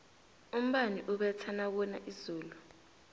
umbani ubetha nakuna izulu